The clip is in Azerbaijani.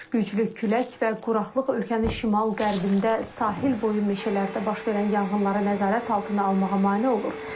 Güclü külək və quraqlıq ölkənin şimal-qərbində sahil boyu meşələrdə baş verən yanğınları nəzarət altına almağa mane olur.